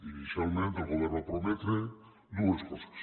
inicialment el govern va prometre dues coses